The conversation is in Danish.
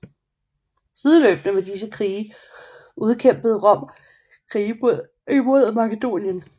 Sideløbende med disse krige udkæmpede Rom krige imod Makedonien